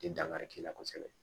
tɛ dankari k'i la kosɛbɛ